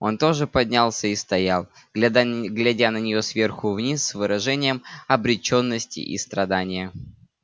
он тоже поднялся и стоял глядя на нее сверху вниз с выражением обречённости и страдания